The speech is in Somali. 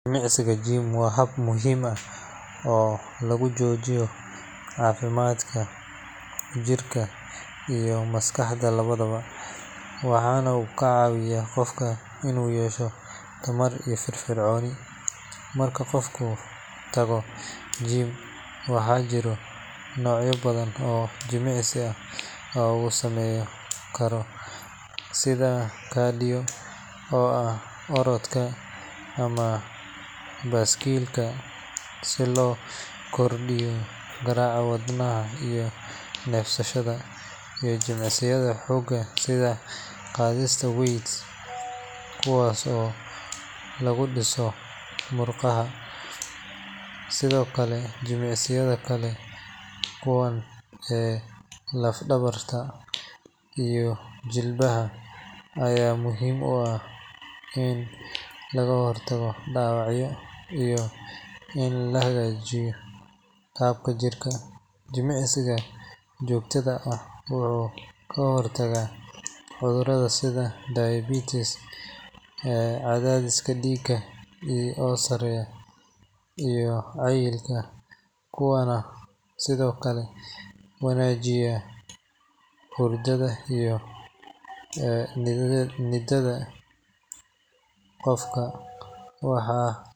Jimicsiga gym waa hab muhiim ah oo lagu xoojiyo caafimaadka jirka iyo maskaxda labadaba, waxaana uu ka caawiyaa qofka inuu yeesho tamar iyo firfircooni. Marka qofku tago gym, waxaa jira noocyo badan oo jimicsi ah oo uu sameyn karo sida cardio oo ah orodka ama baaskiilka si loo kordhiyo garaaca wadnaha iyo neefsashada, iyo jimicsiyada xoogga sida qaadista weights kuwaas oo lagu dhiso murqaha. Sidoo kale, jimicsiyada kala duwan ee lafdhabarta iyo jilbaha ayaa muhiim u ah in laga hortago dhaawacyada iyo in la hagaajiyo qaabka jirka. Jimicsiga joogtada ah wuxuu ka hortagaa cudurrada sida diabetes, cadaadis dhiig oo sareeya, iyo cayilka, wuxuuna sidoo kale wanaajiyaa hurdada iyo niyadda qofka.